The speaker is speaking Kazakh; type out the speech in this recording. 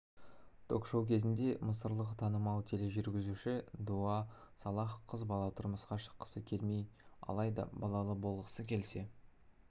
ток-шоу кезінде мысырлық танымал тележүргізуші дуа салах қыз бала тұрмысқа шыққысы келмей алайда балалы болғысы келсе